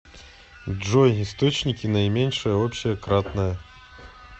джой источники наименьшее общее кратное